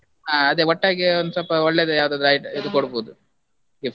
ಹಾ ಅದೇ, ಒಟ್ಟಾಗಿ ಒಂದ್ ಸ್ವಲ್ಪ ಒಳ್ಳೇದೇ ಯಾವದಾದ್ರು ಐ~ ಇದು ಕೊಡ್ಬೋದು, gift .